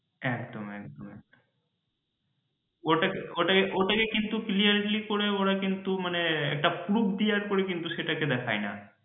একদম একদম ওটাকে ওটাকে কিন্তু clearly করে ওরা কিন্তু মানে পুরো clear করে কিছু দেখায়না।